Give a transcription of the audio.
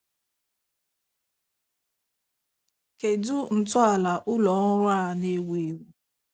Kedụ ntọala Ụlọ ọrụ a na-ewu ewu.?